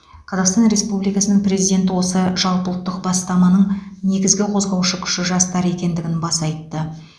қазақстан республикасының президенті осы жалпыұлттық бастаманың негізгі қозғаушы күші жастар екендігін баса айтты